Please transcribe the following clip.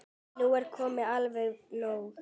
Nú er komið alveg nóg!